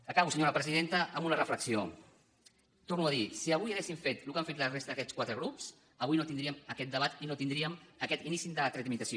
acabo senyora presidenta amb una reflexió torno a dir si avui haguéssim fet el que ha fet la resta d’aquests quatre grups avui no tindríem aquest debat i no tindríem aquest inici de la tramitació